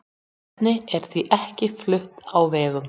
Vetnið er því ekkert flutt á vegum.